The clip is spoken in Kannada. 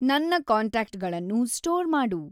ನನ್ನ ಕಾಂಟ್ಯಾಕ್ಟ್‌ ಗಳನ್ನು ಸ್ಟೋರ್‌ ಮಾಡು